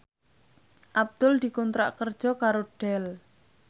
Abdul dikontrak kerja karo Dell